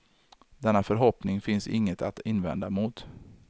Denna förhoppning finns inget att invända mot.